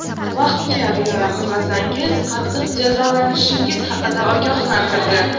Vaqtga rioya qilmasangiz, qattiq jazolanishingiz haqida ogohlantirdi.